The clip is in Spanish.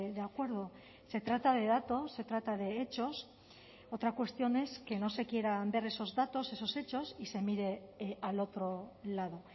de acuerdo se trata de datos se trata de hechos otra cuestión es que no se quieran ver esos datos esos hechos y se mire al otro lado